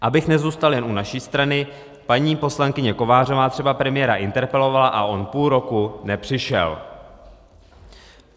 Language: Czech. Abych nezůstal jen u naší strany, paní poslankyně Kovářová třeba premiéra interpelovala a on půl roku nepřišel.